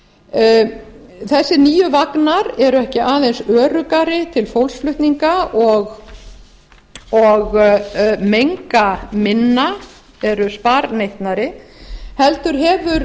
undirverktakana þessir nýju vagnar eru ekki aðeins öruggari til fólksflutninga og menga minna eru sparneytnari heldur hefur